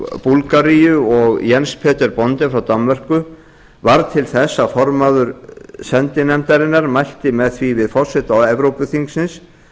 búlgaríu og jens peter bonde frá danmörku varð til þess að formaðurinn sendinefndarinnar mælti með því við forseta evrópuþingsins